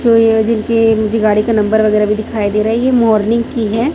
तो यह जिनके मुझे गाड़ी का नंबर वगेरा भी दिखाई दे रहा है मॉर्निंग की है।